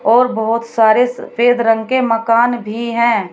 और बहोत सारे सफेद रंग के मकान भी हैं।